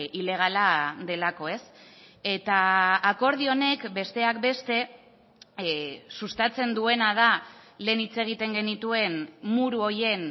ilegala delako ez eta akordio honek besteak beste sustatzen duena da lehen hitz egiten genituen muru horien